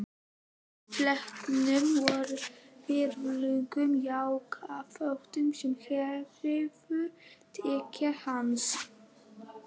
Í sléttum og virðulegum jakkafötum sem hæfðu tign hans.